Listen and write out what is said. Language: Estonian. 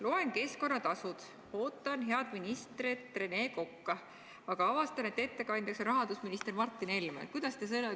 Loen: keskkonnatasud, ja ootan pulti head ministrit Rene Kokka, aga avastan, et ettekandjaks on rahandusminister Martin Helme.